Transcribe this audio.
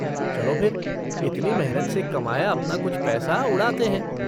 चलो फिर, इतनी मेहनत से कमाया अपना कुछ पैसा उड़ाते है।